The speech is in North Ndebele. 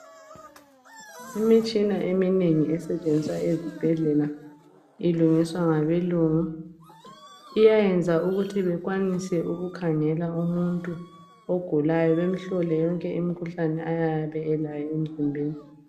Imitshina eminengi esetshenziswa ezibhedlela ilungiswa ngabelungu, iyayenza ukuthi bekwanise ukukhangela umuntu ogulayo bemhlole yonke imkhuhlane ayabe elayo emzimbeni.